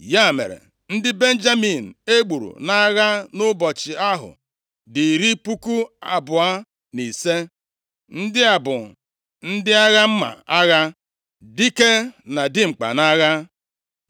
Ya mere, ndị Benjamin e gburu nʼagha nʼụbọchị ahụ dị iri puku abụọ, na ise. Ndị a bụ ndị agha mma agha, dike na dimkpa nʼagha.